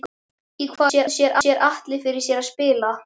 Í hvaða stöðu sér Atli fyrir sér að spila?